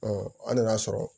an nan'a sɔrɔ